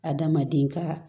Adamaden ka